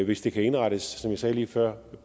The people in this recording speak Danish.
hvis det kan indrettes som jeg sagde lige før